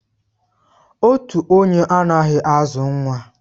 Otu onye anaghị azụ nwa